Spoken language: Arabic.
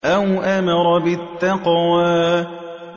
أَوْ أَمَرَ بِالتَّقْوَىٰ